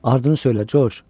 Ardını söylə, Corc.